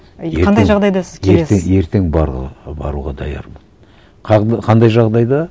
ертең баруға даярмын қандай жағдайда